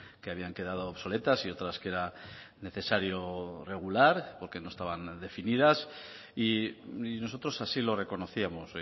que habían quedado obsoletas y otras que era necesario regular porque no estaban definidas y nosotros así lo reconocíamos